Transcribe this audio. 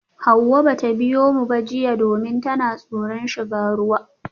Hawaye bata biyo mu jiya ba domin tana tsoron shiga ruwa.